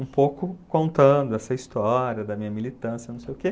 Um pouco contando essa história da minha militância, não sei o quê.